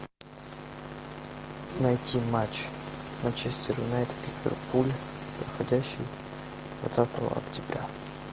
найти матч манчестер юнайтед ливерпуль проходящий двадцатого октября